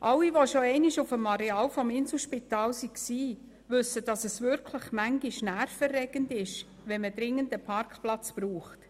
Alle, die schon einmal auf dem Areal des Inselspitals waren, wissen, dass es manchmal nervenaufreibend ist, wenn man dringend einen Parkplatz benötigt.